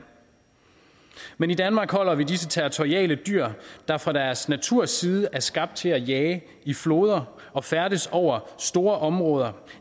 men i danmark holder vi disse territoriale dyr der fra deres naturs side er skabt til at jage i floder og færdes over store områder